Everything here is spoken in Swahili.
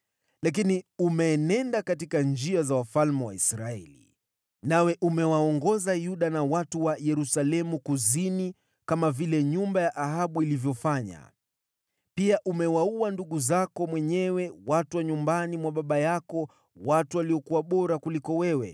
Lakini umeenenda katika njia za wafalme wa Israeli, nawe umewaongoza Yuda na watu wa Yerusalemu kuzini, kama vile nyumba ya Ahabu ilivyofanya. Pia umewaua ndugu zako mwenyewe, watu wa nyumbani mwa baba yako, watu waliokuwa bora kuliko wewe.